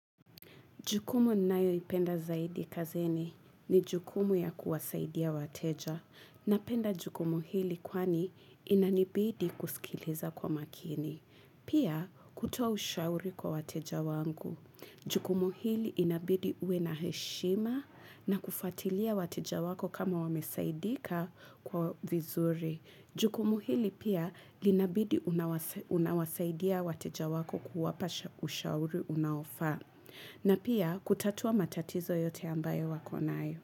Jukumu ninayoipenda zaidi kazini ni jukumu ya kuwasaidia wateja. Napenda jukumu hili kwani inanibidi kusikiliza kwa makini. Pia kutoa ushauri kwa wateja wangu. Jukumu hili inabidi uwe na heshima na kufuatilia wateja wako kama wamesaidika kwa vizuri. Jukumu hili pia linabidi unawasaidia wateja wako kuwapa ushauri unaofaa. Na pia kutatua matatizo yote ambayo wakonayo.